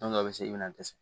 Don dɔw bɛ se i bɛna dɛsɛ